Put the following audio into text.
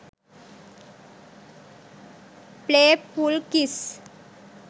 play full kiss